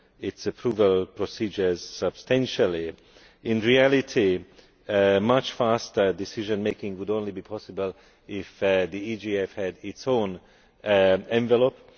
its approval procedures substantially. In reality, much faster decision making would only be possible if the EGF had its own envelope.